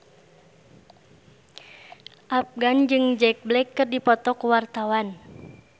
Afgan jeung Jack Black keur dipoto ku wartawan